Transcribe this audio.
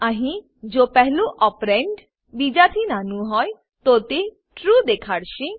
અહીં જો પહેલું ઓપરેન્ડ ઓપરેન્ડ બીજાથી નાનું હોય તો તે ટ્રૂ ટ્રૂ દેખાડશે